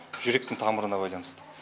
жүректің тамырына байланысты